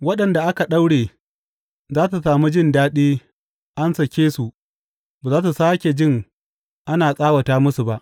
Waɗanda aka daure za su sami jin daɗin; an sake su ba za su sāke jin ana tsawata masu ba.